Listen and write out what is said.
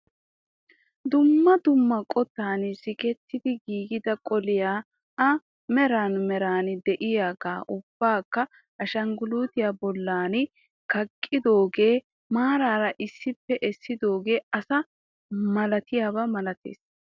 Dumma dumma qottan sikketti giigida qoliyaa a mwray meray de'iyoogaa ubbakka ashinggulitiya bolli kaqqidooge maaraara issippe essidooge asi maatyidobaa malatees.